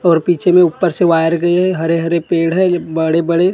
और पीछे में ऊपर से वायर गयी हैं हरे हरे पेड़ हैं बड़े बड़े।